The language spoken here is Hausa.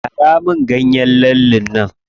Gyara min ganyen lallen nan.